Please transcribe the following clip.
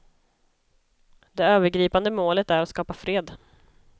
Det övergripande målet är att skapa fred.